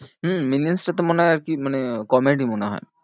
হম মিলিয়ান্স টা তো মনে হয় আর কি মানে comedy মনে হয়।